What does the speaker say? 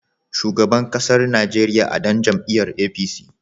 Shugaban ƙasar Najeriya a ɗan jam'iyar APC.